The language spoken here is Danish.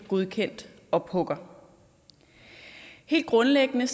godkendt ophugger helt grundlæggende